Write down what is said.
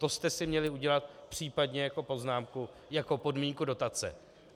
To jste si měli udělat případně jako poznámku, jako podmínku dotace.